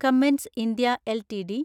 Cummins India LTD